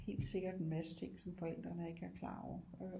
Helt sikkert en masse ting som forældrene ikke er klar over